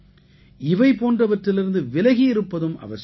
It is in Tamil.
இவை போன்றவற்றிலிருந்து விலகி இருப்பதும் அவசியம்